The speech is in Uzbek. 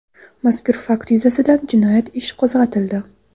Mazkur fakt yuzasidan jinoyat ish qo‘zg‘atildi.